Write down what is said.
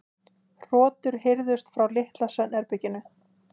Hrotur heyrðust frá litla svefnherberginu.